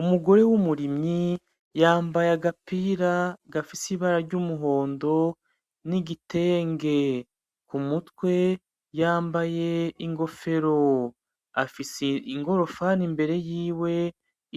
Umugore w'umurimyi ,yambaye agapira gafise ibara r'umuhondo n'igitenge ,kumutwe yambaye ikofero, afise inkorofani imbere yiwe